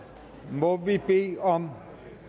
må vi bede om